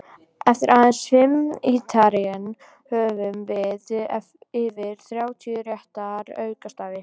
Eftir aðeins fimm ítranir höfum við yfir þrjátíu rétta aukastafi!